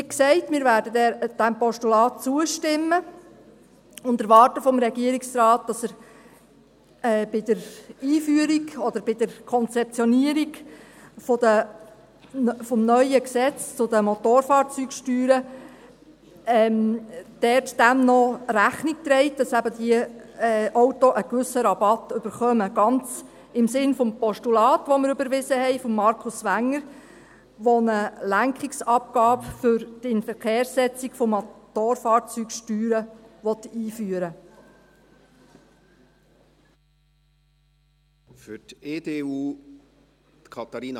Wie gesagt, wir werden diesem Postulat zustimmen und erwarten vom Regierungsrat, dass er bei der Einführung oder bei der Konzeptionierung des neuen Gesetzes zu den Motorfahrzeugsteuern dem noch Rechnung trägt, damit eben diese Autos einen gewissen Rabatt erhalten, ganz im Sinne des Postulats von Markus Wenger , das wir überwiesen haben, das eine Lenkungsabgabe für die Inverkehrssetzung von Motorfahrzeugssteuern einführen will.